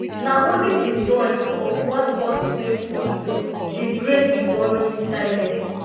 na only di noise of one pulse rate monitor dey break di worrying silence